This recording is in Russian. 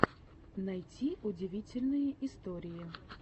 найти удивительные истории